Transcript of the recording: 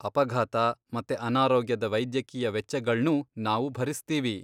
ಅಪಘಾತ ಮತ್ತೆ ಅನಾರೋಗ್ಯದ ವೈದ್ಯಕೀಯ ವೆಚ್ಚಗಳ್ನೂ ನಾವು ಭರಿಸ್ತೀವಿ.